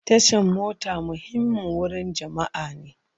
Tashan mota muhimmin wurin jama'a ne.